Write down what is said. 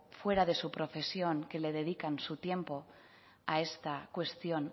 fuera de su profesión que le dedican su tiempo a esta cuestión